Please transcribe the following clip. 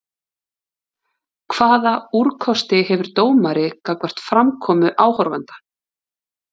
Hvaða úrkosti hefur dómari gagnvart framkomu áhorfenda?